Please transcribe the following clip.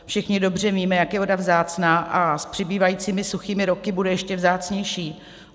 Všichni dobře víme, jak je voda vzácná, a s přibývajícími suchými roky bude ještě vzácnější.